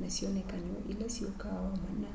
na syonekany'o ila syukaa o mana